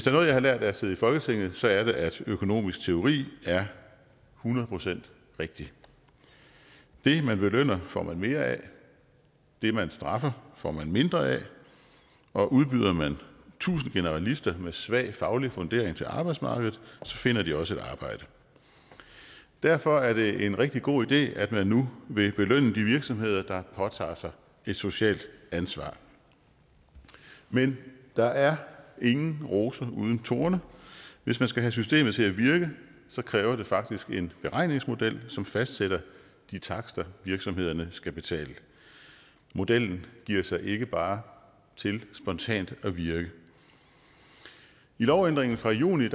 er noget jeg har lært af at sidde i folketinget så er det at økonomisk teori er hundrede procent rigtig det man belønner får man mere af det man straffer får man mindre af og udbyder man tusind generalister med svag faglig fundering til arbejdsmarkedet finder de også et arbejde derfor er det en rigtig god idé at man nu vil belønne de virksomheder der påtager sig et socialt ansvar men der er ingen roser uden torne hvis man skal have systemet til at virke kræver det faktisk en beregningsmodel som fastsætter de takster virksomhederne skal betale modellen giver sig ikke bare til spontant at virke i lovændringen fra juni